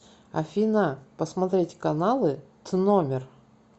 афина посмотреть каналы тномер